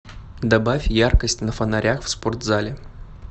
добавь яркость на фонарях в спортзале